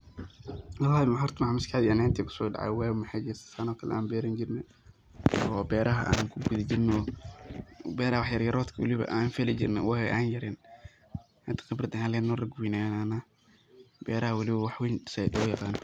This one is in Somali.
Horta mxa maskax deyda kuso dacaya waa mxa jirta san o kaleto an berani jirnay oo beraha an ku fali jrnaay oo beraha, wax yar yaroodka waliba an fali jirnay. Wagi an yaryaren hada khibraad ayan ledahay oo rag waweyn ayan nahnaa beraha walibo wax weyn zaid ayaan oga yaqanaa.